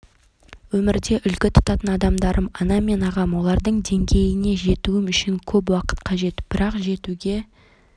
өмірде үлгі тұтатын адамдарым анам мен ағам олардың деңгейіне жетуім үшін көп уақыт қажет бірақ жетуге